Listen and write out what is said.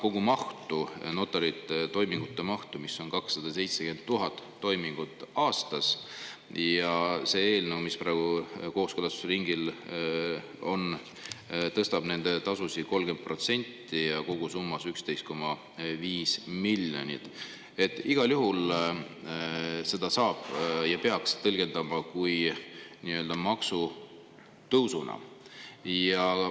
Aga samas, notaritoimingute kogumaht on 270 000 toimingut aastas, see eelnõu, mis praegu kooskõlastusringil on, tõstab nende tasusid 30% ja kogusummas on see 11,5 miljonit, nii et igal juhul seda saab tõlgendada ja peaks tõlgendama kui maksutõusu.